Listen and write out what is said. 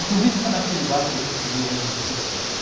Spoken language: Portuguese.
Inclusive, foi naquele bar que a gente viu o onze de setembro.